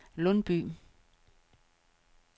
Lundby